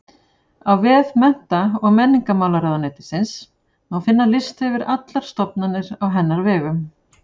Á vef Mennta- og menningarmálaráðuneytisins má finna lista yfir allar stofnanir á hennar vegum.